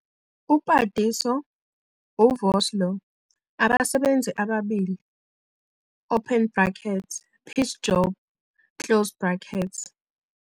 UPadiso, uVosloo, abasebenzi ababili open bracket piece job closed bracket.